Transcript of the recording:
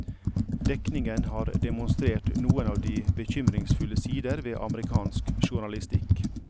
Dekningen har demonstrert noen av de bekymringsfulle sider ved amerikansk journalistikk.